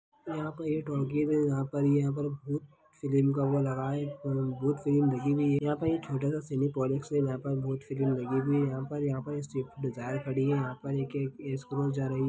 ये एक टॉकीज़ है जहाँ पर भुत फिल्म का वो लगाया हुआ है भुत फिल्म लिखी हुई है यहाँ पे छोटा सा सिनेपोलिक्स है जहाँ पर भुत फिल्म लगे हुए है यहाँ पर यहाँ पर एक स्विफ्ट डिज़ायर खड़ी है यहाँ पर एक एक स्क्रोस जा रही है।